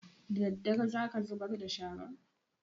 Daddare za ka zubar da sharan?